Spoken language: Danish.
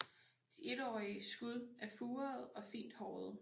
De etårige skud er furede og fint hårede